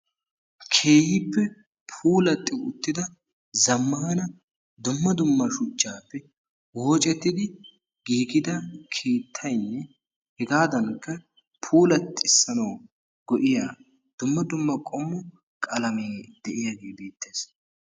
Keehippe puulatti uttida zammaana shuchchaappe woocettidi giigida keettaynne hegaadankka puulaxissanawu go"iya dumma dumma qalamee de"iyagee beettes.